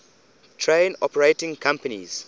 train operating companies